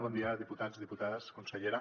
bon dia diputats diputades consellera